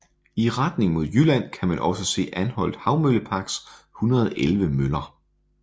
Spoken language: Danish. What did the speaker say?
I retning mod Jylland kan man også se Anholt Havmølleparks 111 møller